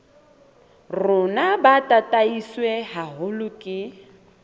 rona bo tataiswe haholo ke